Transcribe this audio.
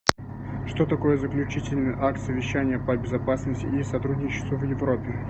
что такое заключительный акт совещания по безопасности и сотрудничеству в европе